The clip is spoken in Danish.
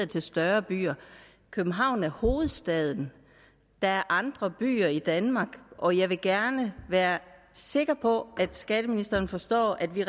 til større byer københavn er hovedstaden der er andre byer i danmark og jeg vil gerne være sikker på at skatteministeren forstår at vi